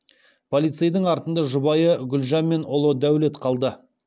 полицейдің артында жұбайы гүлжан мен ұлы дәулет қалды